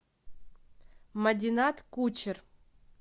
мадинат кучер